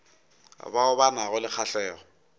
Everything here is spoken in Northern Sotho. bao ba nago le kgahlego